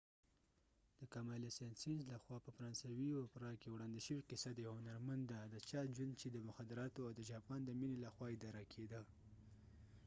د camille saint saens لخوا په فرانسوي اوپرا کې وړاندې شوې قصه د یو هنرمند ده د چا ژوند چې د مخدراتو او جاپان د مینې لخوا اداره کیده